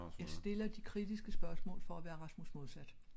Jeg stiller de kritiske spørgsmål for at være Rasmus Modsat